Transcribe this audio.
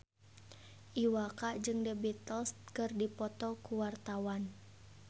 Iwa K jeung The Beatles keur dipoto ku wartawan